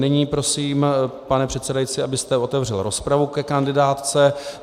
Nyní prosím, pane předsedající, abyste otevřel rozpravu ke kandidátce.